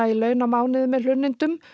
í laun á mánuði með hlunnindum